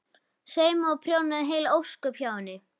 Saumaði og prjónaði heil ósköp hjá henni.